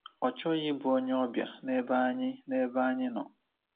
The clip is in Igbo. Ọ chọghị ịbụ onyeọbịa n’ebe anyị n’ebe anyị nọ.